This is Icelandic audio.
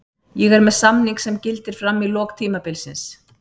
Ég er með samning sem gildir fram í lok tímabilsins.